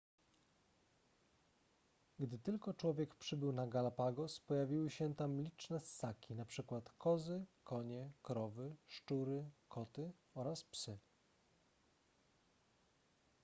gdy tylko człowiek przybył na galapagos pojawiły się tam liczne ssaki np kozy konie krowy szczury koty oraz psy